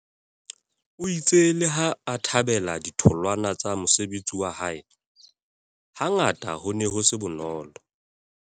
O itse leha a thabela ditholwana tsa mosebetsi wa hae, hangata ho ne ho se bonolo.